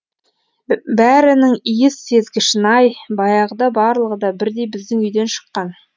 бәрінің иіс сезгішін ай баяғыда барлығы да бірдей біздің үйден шыққан